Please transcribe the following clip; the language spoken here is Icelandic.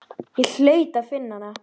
Ég hlaut að finna hana.